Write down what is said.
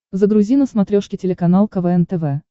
загрузи на смотрешке телеканал квн тв